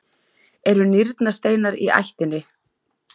eru nýrnasteinar í ættinni?